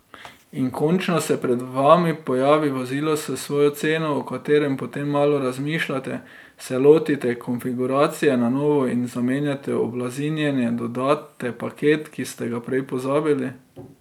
In končno se pred vami pojavi vozilo s svojo ceno, o katerem potem malo razmišljate, se lotite konfiguracije na novo in zamenjate oblazinjenje, dodate paket, ki ste ga prej pozabili ...